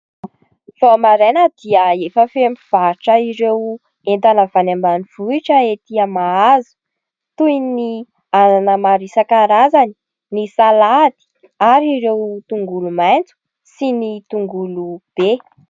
Vao maraina dia efa feno mpivarotra ireo entana avy any ambanivohitra ety Mahazo toy ny anana maro isankarazany, ny salady ary ireo tongolomaitso sy ny tongolo be.